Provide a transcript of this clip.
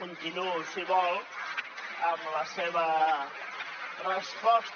continuo si vol amb la seva resposta